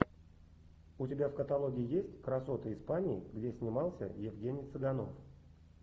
у тебя в каталоге есть красоты испании где снимался евгений цыганов